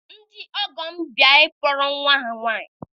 Ndị ọgọ m bịara ịkpọrọ nwa ha nwaanyị